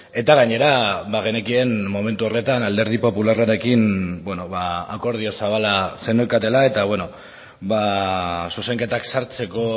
eta gainera bagenekien momentu horretan alderdi popularrarekin akordio zabala zeneukatela eta zuzenketak sartzeko